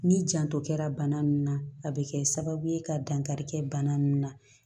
N'i janto kɛra bana min na a bɛ kɛ sababu ye ka dankari kɛ bana ninnu na